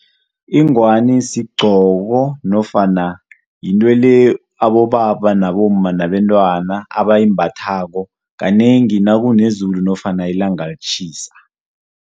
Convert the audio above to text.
Ingwani sigcoko nofana yinto le abobaba nabomma nabantwana abayimbathako kanengi nakunezulu nofana ilanga litjhisa.